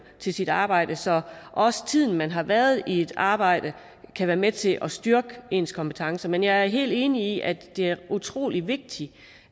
til sit arbejde så også tiden man har været i et arbejde kan være med til at styrke ens kompetencer men jeg er helt enig i at det er utrolig vigtigt